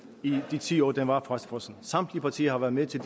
i de ti år det var fastfrosset samtlige partier har været med til